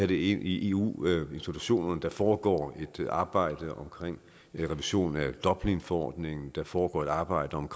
det ind i eu institutionerne der foregår et arbejde om en revision af dublinforordningen der foregår et arbejde om